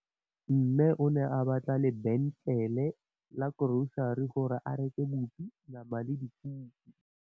Mme o ne a batla lebentlele la kerosari gore a reke bupi, nama le dikuku.